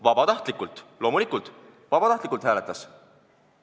Vabatahtlikult loomulikult, vabatahtlikult hääletas!